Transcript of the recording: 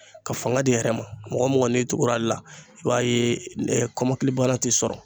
Ka fanga di a yɛrɛ ma mɔgɔ mɔgɔ n'i tugura ale la i b'a ye kɔmɔkili bana tɛ sɔrɔ.